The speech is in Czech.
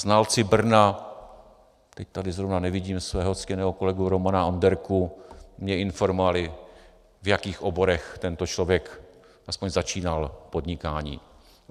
Znalci Brna - teď tady zrovna nevidím svého ctěného kolegu Romana Onderku - mě informovali, v jakých oborech tento člověk aspoň začínal podnikání.